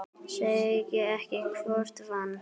Segi ekki hvor vann.